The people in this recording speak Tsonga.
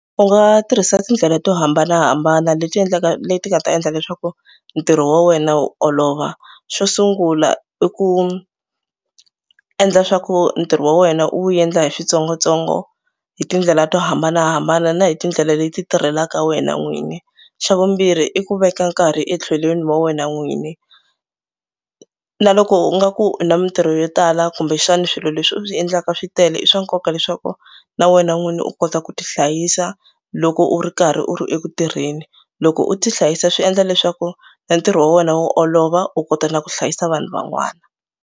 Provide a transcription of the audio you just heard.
U nga tirhisa tindlela to hambanahambana leti endlaka leti nga ta endla leswaku ntirho wa wena wu olova. Xo sungula i ku endla swa ku ntirho wa wena u wu endla hi switsongotsongo hi tindlela to hambanahambana na hi tindlela leti tirhelaka wena n'wini. Xa vumbirhi i ku veka nkarhi etlhelweni wa wena n'wini na loko u nga ku na mitirho yo tala kumbexani swilo leswi u swi endlaka switele i swa nkoka leswaku na wena n'wini u kota ku tihlayisa loko u ri karhi u ri eku tirheni. Loko u tihlayisa swi endla leswaku na ntirho wa wena wu olova u kota na ku hlayisa vanhu van'wana.